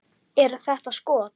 Eru þetta skot.